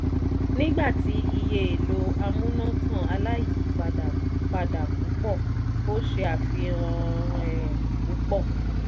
nigba tí iye èlò amúnátàn aláyìipadà pada púpọ̀ o ṣe àfihàn èè púpọ̀